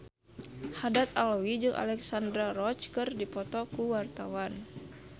Haddad Alwi jeung Alexandra Roach keur dipoto ku wartawan